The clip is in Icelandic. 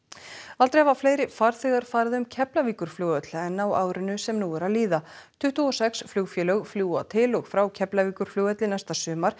aldrei hafa fleiri farþegar farið um Keflavíkurflugvöll en á árinu sem nú er að líða tuttugu og sex flugfélög fljúga til og frá Keflavíkurflugvelli næsta sumar